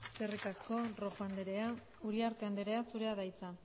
eskerrik asko rojo andrea uriarte andrea zurea da hitza